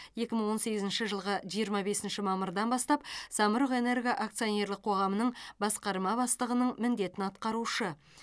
екі мың он сегізінші жылғы жиырма бесінші мамырдан бастап самұрық энерго акционерлік қоғамының басқарма бастығының міндетін атқарушы